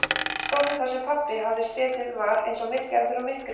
Stóllinn þar sem pabbi hafði setið var eins og gerður úr myrkri.